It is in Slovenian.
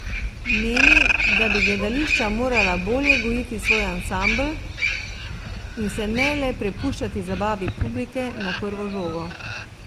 Meni, da bi gledališča morala bolje gojiti svoj ansambel in se ne le prepuščati zabavi publike na prvo žogo.